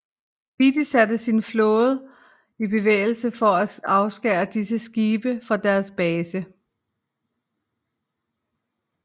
Beatty satte sin flåde i bevægelse for at afskære disse skibe fra deres base